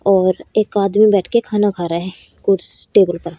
और एक आदमी बैठ के खाना खा रहा है कुर्स टेबल पर।